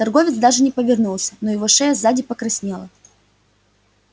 торговец даже не повернулся но его шея сзади покраснела